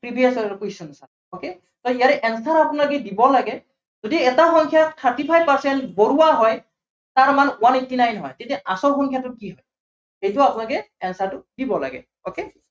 previous year ৰ question চাম okay, so ইয়াৰে answer আপোনাালোকে দিব লাগে। যদি এটা সংখ্য়াৰ thirty percent বঢ়োৱা হয়, তাৰ মান one eighty nine হয়। তেতিয়া আচল সংখ্য়াটো কি হয় এইটো আপোনাালোকে answer টো দিব লাগে। okay